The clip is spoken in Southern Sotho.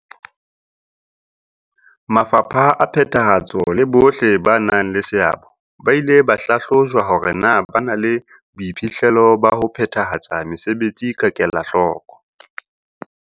Mafapha a phethahatso le bohle ba nang le seabo ba ile ba hlahlojwa hore na ba na le boiphihlelo ba ho phethahatsa mesebetsi ka kelahloko.